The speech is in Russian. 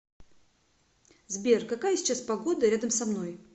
сбер какая сейчас погода рядом со мной